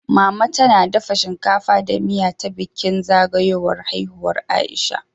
Mama tana dafa shinkafa da miya ta bikin zagayowar haihuwar Aisha